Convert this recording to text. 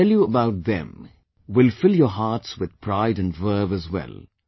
What I tell you about them will fill your hearts with pride & verve as well